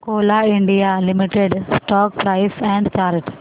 Coal India Limited stock price and chart